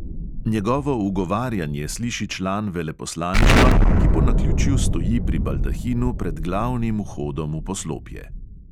Njegovo ugovarjanje sliši član veleposlaništva, ki po naključju stoji pri baldahinu pred glavnim vhodom v poslopje.